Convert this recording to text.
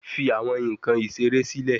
Fi awọn nkan isere silẹ